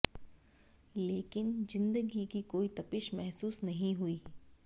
लेकिन जिंदगी की कोई तपिश महसूस नहीं हुई